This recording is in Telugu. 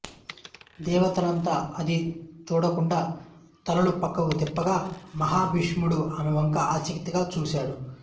దేవతలంతా అది చూడకుండా తలలు పక్కకు తిప్పగా మహాభీషుడు ఆమెవంక ఆసక్తిగా చూసాడు